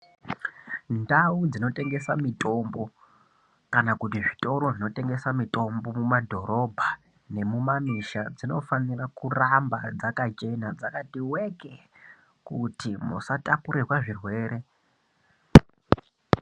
Ndau dzinotengesa mitombo kana kuti zvitoro zvinotengesa mitombo mumadhorobha nemumamisha dzinofanira kuramba dzakachena dzakati weke kuti musatakurirwa zvirwere.